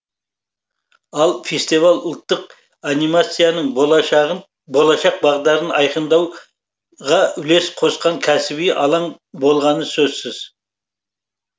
ал фестиваль ұлттық анимацияның болашақ бағдарын айқындауға үлес қосқан кәсіби алаң болғаны сөзсіз